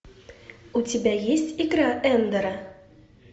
у тебя есть игра эндера